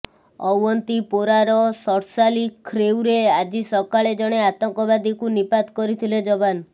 ଅଓ୍ୱନ୍ତିପୋରାର ଶର୍ଶାଲି ଖ୍ରେଉରେ ଆଜି ସକାଳେ ଜଣେ ଆତଙ୍କବାଦୀକୁ ନିପାତ କରିଥିଲେ ଯବାନ